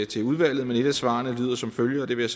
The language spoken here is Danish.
til udvalget et af svarene lyder som følger og det vil